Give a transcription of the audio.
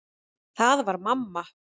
Það var mamma.